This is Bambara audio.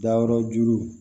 Dayɔrɔjuru